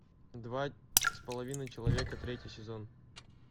два с половиной человека третий сезон